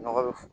Nɔgɔ bɛ fɔ